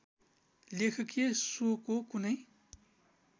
लेखकीय स्वको कुनै